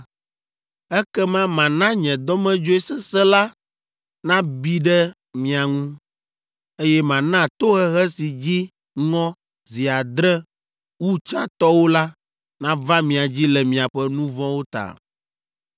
ekema mana nye dɔmedzoe sesẽ la nabi ɖe mia ŋu, eye mana tohehe si dzi ŋɔ zi adre wu tsãtɔwo la nava mia dzi le miaƒe nu vɔ̃wo ta.